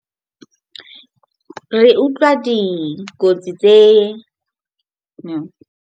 Re utlwa dikotsi tse .